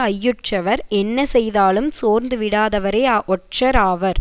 ஐயுற்றவர் என்ன செய்தாலும் சோர்ந்து விடாதவரே ஒற்றர் ஆவர்